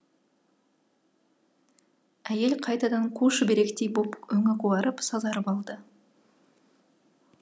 әйел қайтадан қу шүберектей боп өңі қуарып сазарып алды